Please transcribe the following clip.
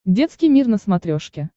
детский мир на смотрешке